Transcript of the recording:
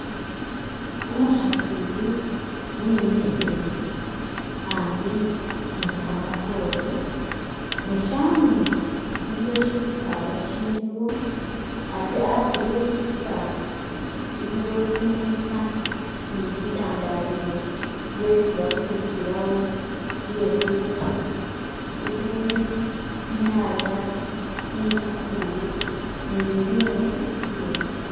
Umukhasi iyu wimikhile ambi ni kamatoore ne shanyuma iliwo shisaala shiliwo ate asi we shisaala iliwo tsimeetsa ni bitandalilo byesi bakulisilawo bye'khulya ukhuli tsinyaanya, bitungulu ni'bibindu bibindi.